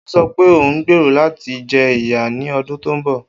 O sọ pe o ngbero lati jẹ iya ni ọdun to nbọ